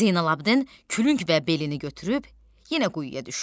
Zeynalabddin külüng və belini götürüb yenə quyuya düşdü.